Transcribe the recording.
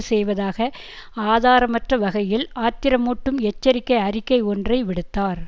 செய்வதாக ஆதாரமற்றவகையில் ஆத்திரமூட்டும் எச்சரிக்கை அறிக்கை ஒன்றை விடுத்தார்